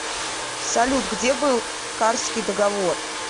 салют где был карсский договор